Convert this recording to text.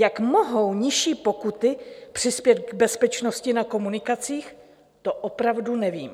Jak mohou nižší pokuty přispět k bezpečnosti na komunikacích, to opravdu nevím.